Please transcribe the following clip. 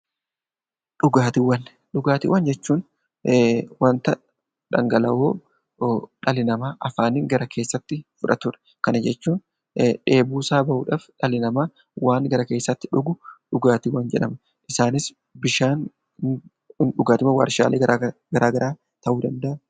Dhugaatiiwwan Dhugaatiiwwan jechuun waanta dhangala'oo dhalli namaa afaaniin gara keessatti fudhatudha. Kana jechuun dheebuu isaa bahuuf waan gara keessatti dhugu dhugaatiiwwan jedhama. Isaanis bishaan dhugaatiiwwan waarshaa garaagaraa ta'uu danda'u.